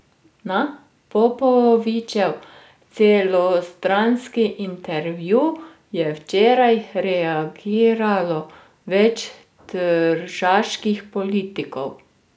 Na Popovičev celostranski intervju je včeraj reagiralo več tržaških politikov.